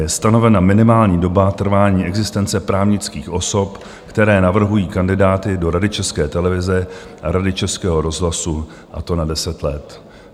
Je stanovena minimální doba trvání existence právnických osob, které navrhují kandidáty do Rady České televize a Rady Českého rozhlasu, a to na 10 let.